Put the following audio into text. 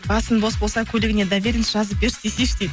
басың бос болса көлігіне доверенность жазып берші десейші дейді